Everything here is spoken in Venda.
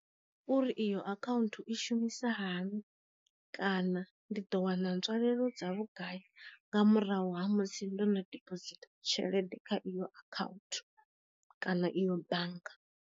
Uri iyo akhaunthu i shumisa hani kana ndi ḓo wana nzwalelo dza vhugai nga murahu ha musi ndono diphosithi tshelede kha iyo akhaunthu kana iyo bannga.